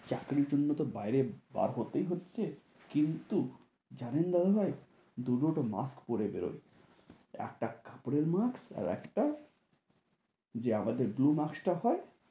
চাকরির জন্য তো বাইরে বার হতেই হচ্ছে, কিন্তু জানেন দাদা ভাইদু -দুটো mask পরে বেরোয় একটা কাপড়ের mask আর একটা যে আমাদের bloue mask তা হয়।